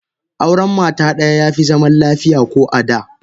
Auren mata daya yafi zaman lafiya ko a da.